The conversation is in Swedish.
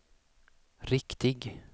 riktig